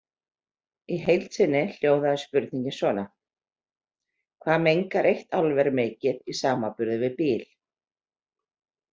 Í heild sinni hljóðaði spurningin svona: Hvað mengar eitt álver mikið í samanburði við bíl.